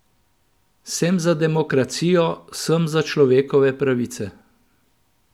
Sem za demokracijo, sem za človekove pravice.